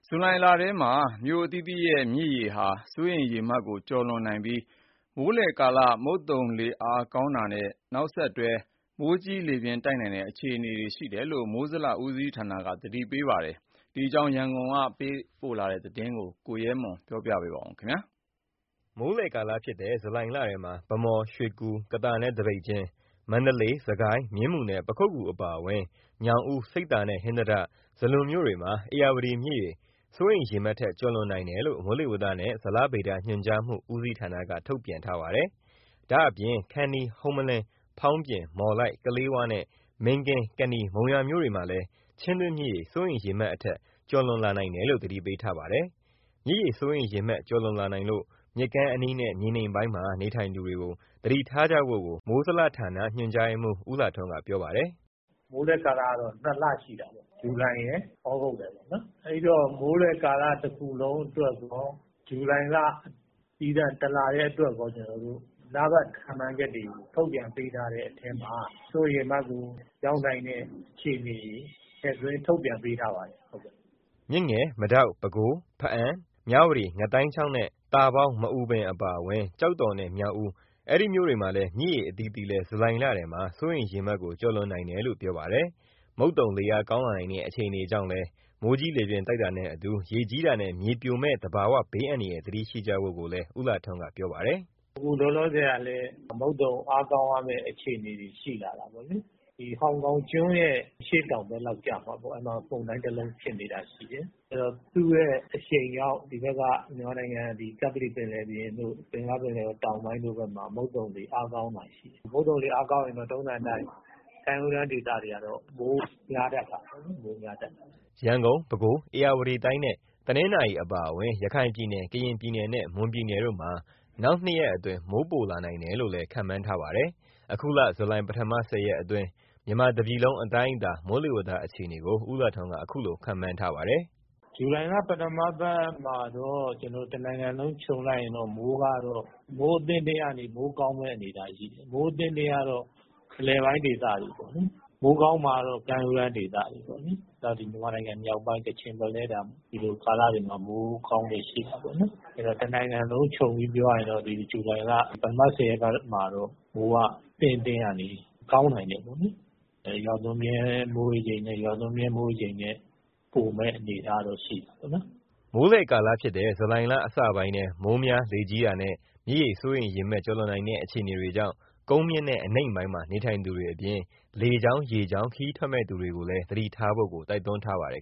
ဇူလိုင်လထဲမှာ မြို့အသီးသီးရဲ့ မြစ်ရေစိုးရိမ်ရေမှတ် ကျော်လွန်နိုင်ပြီး မိုးလယ်ကာလ မုတ်သုံလေအားကောင်းတာရဲ့ နောက်ဆက်တွဲ မိုးကြီးလေပြင်းတိုက်နိုင်တဲ့ အခြေအနေတွေကို မိုးလေဝသနဲ့ ဇလဗေဒ ညွှန်ကြားမှုဦးစီးဌာနက သတိပေးထားပါတယ်။ ဒီအကြောင်း ရန်ကုန်ကပေးပို့ထားတဲ့ သတင်း ကိုရဲမွန် ပြောပြမှာပါ။ မိုးလယ်ကာလဖြစ်တဲ့ ဇူလိုင်လထဲမှာ ဗန်းမော်၊ ရွှေကူ၊ ကသာနဲ့ သပိတ်ကျင်း၊ မန္တလေး၊ စစ်ကိုင်း၊ မြင်းမူနဲ့ ပခုက္ကူ အပါအဝင် ညောင်ဦး၊ ဆိပ်သာနဲ့ ဟင်္သာတ၊ ဇလွန် အဲဒီမြို့တွေမှာ ဧရာဝတီမြစ်ရေ စိုးရိမ်ရေမှတ်ထက် ကျော်လွန်နိုင်တယ်လို့ မိုးလေဝသနဲ့ ဇလဗေဒညွှန်ကြားမှု ဦးစီးဌာနက ထုတ်ပြန်ထားပါတယ်။ ဒါ့အပြင် ခန္တီး၊ ဟုမ္မလင်း၊ ဖောင်းပြင်၊ မော်လိုက်၊ ကလေးဝနဲ့ မင်းကင်း၊ ကနီ၊ မုံရွာမြို့မှာလည်း ချင်းတွင်းမြစ်ရေ စိုးရိမ်ရေမှတ်အထက် ကျော်လွန်နိုင်တယ်လို့ သတိပေးထားပါတယ်။ မြစ်ရေစိုးရိမ်ရေမှတ် ကျော်လွန်လာနိုင်လို့ မြစ်ကမ်းအနီးနဲ့ မြေနိမ့်ပိုင်းနေထိုင်သူတွေ သတိထားကြဖို့ကို မိုးဇလဌာန ညွှန်ကြားရေးမှူး ဦးလှထွန်းက ပြောပါတယ်။ "မိုးလယ်ကာလကတော့ ၂ လရှိတာပေါ့။ ဇူလိုင်ရယ်၊ ဩဂုတ်ရယ်ပေါ့နော်။ အဲဒီတော့ မိုးလယ်ကာလ တခုလုံးအတွက်ကော၊ ဇူလိုင်လသီးသန့် တလတည်းအတွက်ကော လပတ်ခန့်မှန်းချက်တွေကို ထုတ်ပြန်ပေးထားတဲ့အထဲမှာ စိုးရိမ်ရေမှတ်ကိုရောက်နိုင်တဲ့ အခြေအနေတွေ ထည့်သွင်းထုတ်ပြန်ပေးထားပါတယ်။" မြစ်ငယ်၊ မဒေါက်၊ ပဲခူး၊ ဘားအံ၊ မြဝတီ၊ ငါးသိုင်းချောင်းနဲ့ သာပေါင်း၊ မအူပင် အပါအဝင် ကျောက်တော်နဲ့ မြောက်ဦး အဲဒီမြို့တွေရဲ့ မြစ်ရေအသီးသီးလည်း ဇူလိုင်လထဲမှာ စိုးရိမ်ရေမှတ်ကို ကျော်လွန်နိုင်တယ်လို့ ပြောပါတယ်။ မုတ်သုံလေအားကောင်းလာနိုင်တဲ့ အခြေအနေကြောင့်လည်း မိုးကြီးလေပြင်းတိုက်တာနဲ့အတူ ရေကြီးတာနဲ့ မြေပြိုမယ့် သဘာဝဘေးအန္တရာယ် သတိရှိကြဖို့ ဦးလှထွန်းက ပြောပါတယ်။ "အခုလောလောဆယ်ကလည်း မုတ်သုံအားကောင်းရမယ့် အခြေအနေတွေ ရှိလာတာပေါ့လေ။ ဟောင်ကောင်ကျွန်းရဲ့ အရှေ့တောင်ဘက်လောက် ကျမှာပေါ့၊ အဲဒီမှာ မုန်တိုင်းတလုံးဖြစ်နေတာ ရှိတယ်။ အဲတော့ သူ့ရဲ့အရှိန်ကြောင့် ဒီဘက်က မြန်မာနိုင်ငံ ကပ္ပလီပင်လယ်ပြင်တို့၊ ဘင်္ဂလားပင်လယ်အော် တောင်ပိုင်းတို့ဘက်မှာ မုတ်သုံလေအားကောင်းလာတာရှိတယ်။ မုတ်သုံလေအားကောင်းရင်တော့ ထုံးစံအတိုင်း ကမ်းရိုးတန်းဒေသတွေကတော့ မိုးများတတ်တာပေါ့နော်။" ရန်ကုန်၊ ပဲခူး၊ ဧရာဝတီတိုင်းနဲ့ တနင်္သာရီအပါအဝင် ရခိုင်ပြည်နယ်၊ ကရင်ပြည်နယ်နဲ့ မွန်ပြည်နယ်တို့မှာ နောက် ၂ ရက်အတွင်း မိုးပိုလာနိုင်တယ်လို့လည်း ခန့်မှန်းထားပါတယ်။ အခုလ ဇူလိုင် ပထမ ၁၀ ရက်အတွင်း မြန်မာတပြည်လုံးအတိုင်းအတာ မိုးလေဝသအခြေအနေကို ဦးလှထွန်းက အခုလိုခန့်မှန်းထားပါတယ်။ "ဇူလိုင်လ ပထမပတ်မှာတော့ တနိုင်ငံလုံးခြုံလိုက်ရင် မိုးကတော့ အသင့်အတင့်ကနေ မိုးကောင်းမယ့်အနေအထားရှိတယ်။ မိုးအသင့်အတင့်ကတော့ အလယ်ပိုင်းဒေသတွေပေါ့နော်။ မိုးကောင်းမှာကတော့ ကမ်းရိုးတန်းဒေသတွေပေါ့နော်။ ပြီးတော့ မြန်မာနိုင်ငံမြောက်ပိုင်း ကချင်ဘက်လည်း ဒီလိုကာလတွေမှာ မိုးကောင်းလေ့ရှိတာပေါ့နော်။ အဲတော့ တနိုင်ငံလုံးခြုံပြီး ပြောရရင်တော့ ဇူလိုင်လ ပထမ ၁၀ ရက်ပတ်မှာတော့ မိုးအသင့်အတင့်ကနေ ကောင်းနိုင်တယ်ပေါ့လေ။ ရွာသွန်းမြဲမိုးရေချိန်နဲ့ ရွာသွန်းမြဲမိုးရေချိန်ထက် ပိုမယ့်အနေအထားကတော့ ရှိတာပေါ့နော်။" မိုးလယ်ကာလဖြစ်တဲ့ ဇူလိုင်လအစပိုင်းထဲ မိုးများလေကြီးတာနဲ့ မြစ်ရေစိုးရိမ်ရေမှတ် ကျော်လွန်နိုင်တဲ့ အခြေအနေတွေကြောင့် ကုန်းမြင့်နဲ့ အနိမ့်ပိုင်းမှာ နေထိုင်သူတွေအပြင် လေကြောင်း၊ ရေကြောင်းခရီးထွက်မယ့်သူတွေလည်း သတိထားဖို့ကို တိုက်တွန်းထားပါတယ်